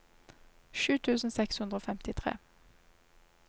sju tusen seks hundre og femtitre